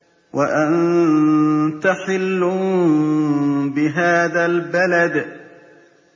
وَأَنتَ حِلٌّ بِهَٰذَا الْبَلَدِ